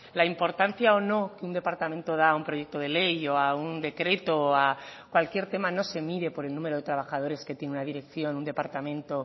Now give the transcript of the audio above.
la importancia o no que un departamento da a un proyecto de ley o un decreto o a cualquier tema no se mide por el número de trabajadores que tiene una dirección un departamento